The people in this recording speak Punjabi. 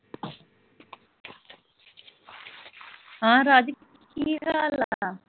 ਹਾਂ ਰਾਜ ਕੀ ਹਾਲਚਾਲ ਆ?